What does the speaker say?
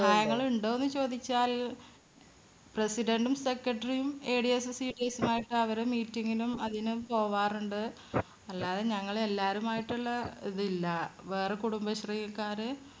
സഹായങ്ങളുണ്ടോന്നു ചോദിച്ചാൽ President ഉം Secretary യും ADS, CDS മായിട്ട് അവര് meeting നും അതിനും പോകാറുണ്ട്. അല്ലാതെ ഞങ്ങളെ എല്ലാവരുമായിട്ടുള്ള ഇത് ഇല്ല. വേറെ കുടുംബശ്രീക്കാര്